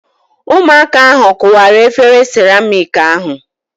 Ụmụaka ahu kụwara efere siramịk ahu